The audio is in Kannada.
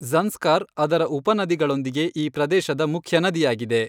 ಜ಼ನ್ಸ್ಕಾರ್ ಅದರ ಉಪನದಿಗಳೊಂದಿಗೆ ಈ ಪ್ರದೇಶದ ಮುಖ್ಯ ನದಿಯಾಗಿದೆ.